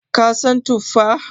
ka San tuffa?